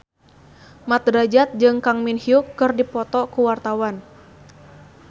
Mat Drajat jeung Kang Min Hyuk keur dipoto ku wartawan